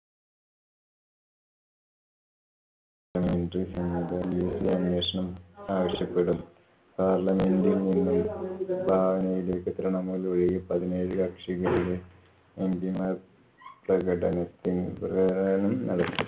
അന്വേഷണം ആവശ്യപ്പെടും. parliament ല്‍ നിന്നും തൃണമൂൽ ഒഴികെ പതിനേഴ്‌ കക്ഷികളിലെ mp മാർ പ്രകടനത്തി~ പ്രകടനം നടത്തി.